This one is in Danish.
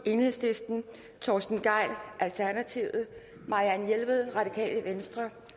torsten gejl marianne jelved